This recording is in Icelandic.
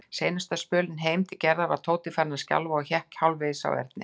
Seinasta spölinn heim til Gerðar var Tóti farinn að skjálfa og hékk hálfvegis á Erni.